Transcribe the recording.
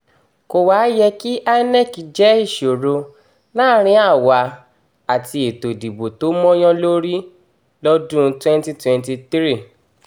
kò wáá yẹ kí inec jẹ́ ìṣòro láàrin àwa àti ètò ìdìbò tó mọ́yán lórí mọ́yán lórí lọ́dún 2023